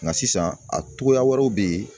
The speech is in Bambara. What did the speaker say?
Nka sisan a cogoya wɛrɛw bɛ yen